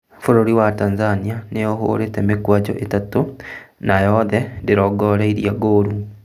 Bũrũri wa Tanzania nĩĩhũrĩte mĩkwanjo ĩtatũ na yothe ndĩrongorĩirie ngolu